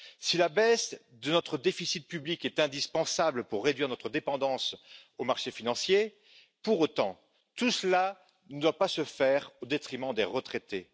Si la baisse de notre déficit public est indispensable pour réduire notre dépendance aux marchés financiers, pour autant, tout cela ne doit pas se faire au détriment des retraités.